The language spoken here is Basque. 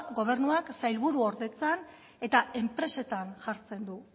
gobernuak sailburuordetzan eta enpresetan jartzen du